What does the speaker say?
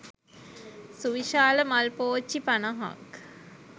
සුවිශාල මල් පෝච්චි පනහක්